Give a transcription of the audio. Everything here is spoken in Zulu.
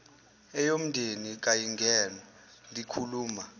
eyomndeni kayingenwa likhuluma